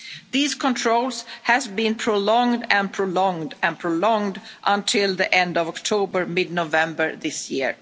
threats. These controls have been prolonged and prolonged and prolonged until the end of October mid-November